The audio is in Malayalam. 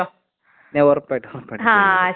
ആഹ് ശരി ശരി ഓക്കെ ശരി എന്നാ ബൈ.